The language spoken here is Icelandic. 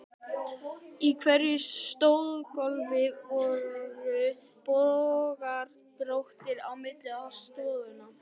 Í hverju stafgólfi voru bogar, dróttir, á milli stoðanna.